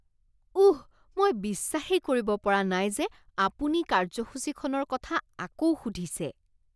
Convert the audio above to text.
উঃ, মই বিশ্বাসেই কৰিব পৰা নাই যে আপুনি কাৰ্যসূচীখনৰ কথা আকৌ সুধিছে!